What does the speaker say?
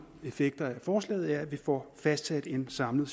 effekter af forslaget er at vi får fastsat en samlet